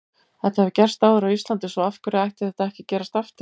Þetta hefur gerst áður á Íslandi svo af hverju ætti þetta ekki að gerast aftur?